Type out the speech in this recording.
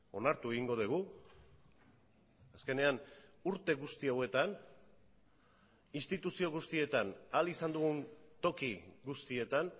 onartu egingo dugu azkenean urte guzti hauetan instituzio guztietan ahal izan dugun toki guztietan